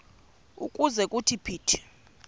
ukuze kuthi phithi